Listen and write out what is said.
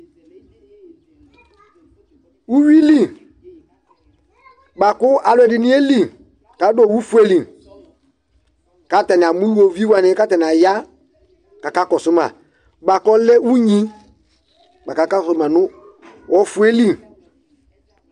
ʋwili bʋakʋ alʋɛdini yɛli kʋ adʋ ɔwʋ ƒʋɛli kʋ atani amɔ ʋlʋvi wani kʋ atani aya kʋ akakɔsʋ ma bʋakʋ ɔlɛ ʋnyi bʋakʋ aka zɔma nʋ ɔƒʋɛli